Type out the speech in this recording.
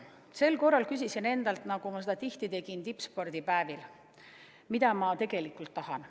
Tippspordi päevil küsisin endalt tihti, mida ma tegelikult tahan.